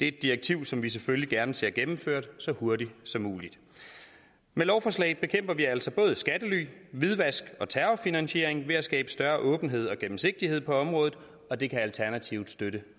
et direktiv som vi selvfølgelig gerne ser gennemført så hurtigt som muligt med lovforslaget bekæmper vi altså både skattely hvidvask og terrorfinansiering ved at skabe større åbenhed og gennemsigtighed på området og det kan alternativet støtte